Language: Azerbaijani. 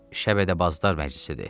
Şəbədəbazlar məclisidir.